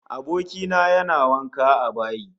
Aboki na yana wanka a bayi